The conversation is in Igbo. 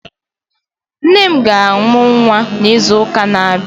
Nne m ga-amụ nwa n'izuụka na-abịa